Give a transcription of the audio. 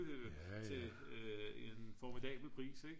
til en formidabel pris ik